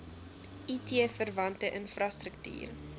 it verwante infrastruktuur